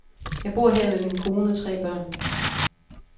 Jeg bor her med min kone og tre børn.